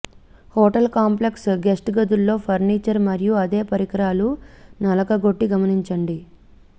hotel complex guests గదుల్లో furniture మరియు అదే పరికరాలు నలగగొట్టి గమనించండి